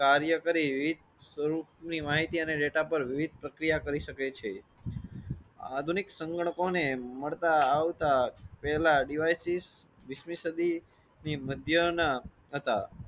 માહિતી અને ડેટા પર પ્રક્રિયા કરી શકે છે. આધુનિક સંગણકોને મળતા આવતા પહેલા ડિવાઇસિસ. મધ્ય ના હતા.